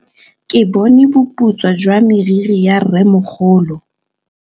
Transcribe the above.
Ke bone boputswa jwa meriri ya rrêmogolo.